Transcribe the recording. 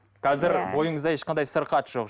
қазір бойыңызда ешқандай сырқат жоқ